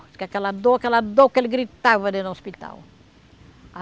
Diz que aquela dor, aquela dor que ele gritava dentro do hospital.